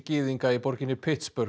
gyðinga í borginni